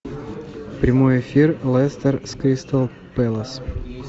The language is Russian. прямой эфир лестер с кристал пэлас